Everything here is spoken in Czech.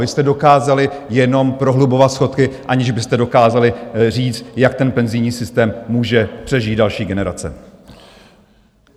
Vy jste dokázali jenom prohlubovat schodky, aniž byste dokázali říct, jak ten penzijní systém může přežít další generace.